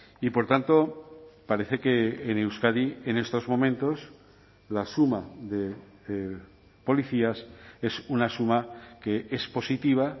y por tanto parece que en euskadi en estos momentos la suma de policías es una suma que es positiva